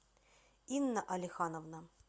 инна алихановна